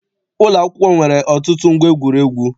Ụlọakwụkwọ m nwere ọtụtụ ngwa egwuregwu.